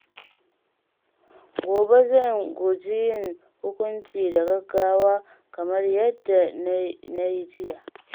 Gobe zan guji yin hukunci da gaggawa kamar yadda na yi jiya.